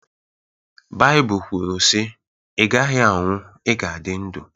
Baịbụl kwuru sị “Ị gaghị anwụ, ị ga-adị ndụ